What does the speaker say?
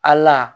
A la